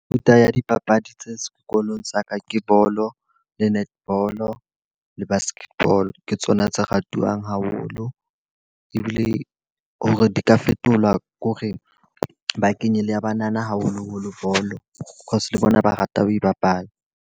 Mefuta ya dipapadi tse sekolong sa ka ke bolo, le netball, le basketball. Ke tsona tse ratwang haholo ebile hore di ka fetola kore ba kenye le ya banana haholoholo bolo. Cause le bona ba rata ho e bapala.